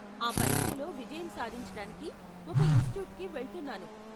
ఆ పరీక్షలో విజయం సాధించటానికి ఒక ఇన్స్టిట్యూట్కి వెళ్తున్నాను.